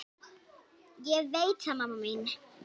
Ég veit það mamma mín.